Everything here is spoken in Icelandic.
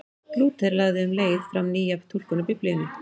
Lúther lagði um leið fram nýja túlkun á Biblíunni.